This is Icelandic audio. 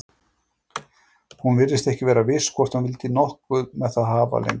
Hún virtist ekki vera viss hvort hún vildi nokkuð með það hafa lengur.